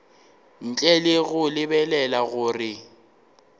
ntle le go lebelela gore